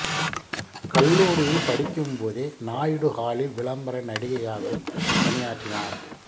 கல்லூரியில் படிக்கும் போதே நாயுடு ஹாலில் விளம்பர நடிகையாகவும் பணியாற்றினார்